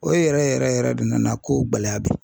O yɛrɛ yɛrɛ yɛrɛ de nana kow gɛlɛya bi